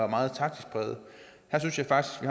meget taktisk præget her synes jeg faktisk